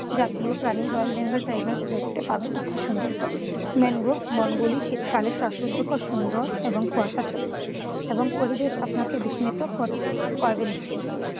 জাতীয় প্রাণী royal Bengal tiger দেখতে পাবেন আপনি সুন্দরবনে। ম্যানগ্রোভ বনগুলি শীতকালে শ্বাসরুদ্ধকর সুন্দর এবং কুয়াশাচ্ছন্ন এবং পরিবেশ আপনাকে বিস্মিত কর করবে নিশ্চিন্ত।